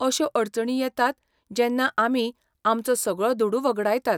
अश्यो अडचणी येतात जेन्ना आमी आमचो सगळो दुडू वगडायतात.